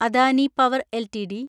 Adani power LTD